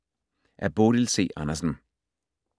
Af Bodil C. Andersen